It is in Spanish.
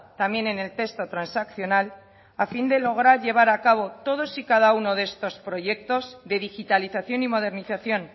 también en el texto transaccional a fin de lograr llevar a cabo todos y cada uno de estos proyectos de digitalización y modernización